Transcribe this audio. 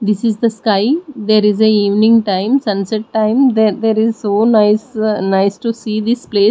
this is the sky there is a evening time sunset time the there is so nice uh nice to see this place.